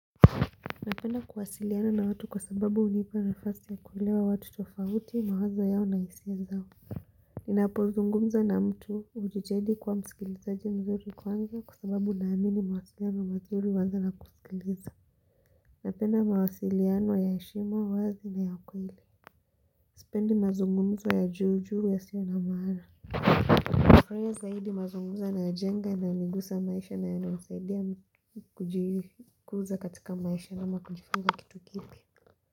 Napenda kuwasiliana na watu kwa sababu unipa na fasi ya kuelewa watu tofauti mawazo yao na isia zao ninapozungumza na mtu ujitahidi kuwa msikilizaji mzuri kwanza kwa sababu naamini mawasiliano mazuri uanza na kusikiliza Napenda mawasiliano ya heshima uwazi na ya kweli Sipendi mazungumzo ya juu juu ya siyo na maana nafurahia zaidi mazungumzo yanayojenga na inanigusa maisha na yana nisaidia kujikuza katika maisha ama kujifunza kitu kipya.